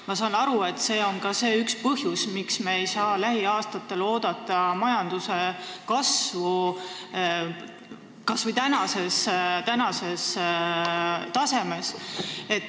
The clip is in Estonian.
Ma saan aru, et see on ka üks põhjus, miks me ei saa lähiaastatel oodata majanduse kasvu kas või praegusel tasemel.